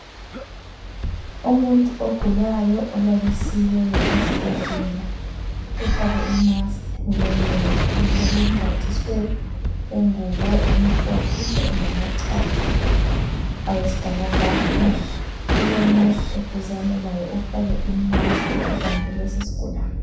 Umuntu ogulayo olalisiweyo esibhedlela ufake imask emlonyeni njalo umbathiswe ingubo emhlophe lamachatha awesibhakabhaka. Kulonesi eduzane laye ofake imask ubambe lesisigulane.